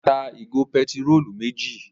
Ọlá tá ìgò pẹtírólù méjì.